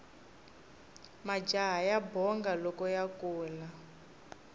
majaha ya bonga loko ya kula